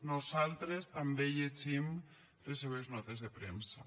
nosaltres també llegim les seves notes de premsa